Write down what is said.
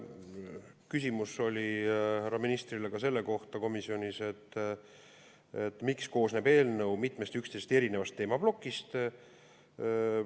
Küsimus oli komisjonis härra ministrile ka selle kohta, miks koosneb eelnõu mitmest üksteisest erinevast teemaplokist.